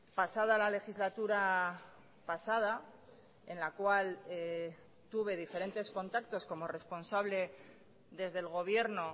pasada la legislatura pasada en la cual tuve diferentes contactos como responsable desde el gobierno